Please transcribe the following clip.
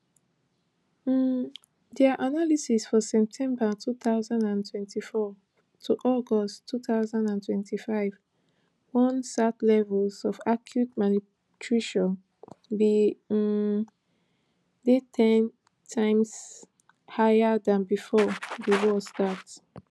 um dia analysis for september two thousand and twenty-four to august two thousand and twenty-five warn sat levels of acute malnutrition bin um dey ten times higher dan bifor di war start